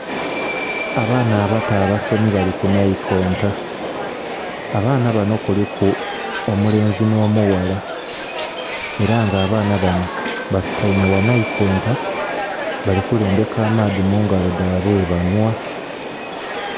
Abaana abato abasomi bali ku nhaikonta, abaana banho kuliku omulenzi nho mughala ela nga abaana banho basutaime gha naikonta bali kulembeka amaadhi mu ngalo dhabwe ghe banhwa.